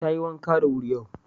Tayi wanka da wuri yau.